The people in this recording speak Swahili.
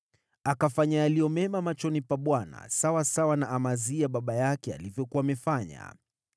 Akatenda yaliyo mema machoni pa Bwana, kama Amazia baba yake alivyofanya.